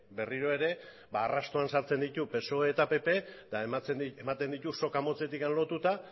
berriro ere arrastoan sartzen ditu psoe eta pp eta ematen ditu soka motzetik lotuta